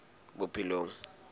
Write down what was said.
bophelong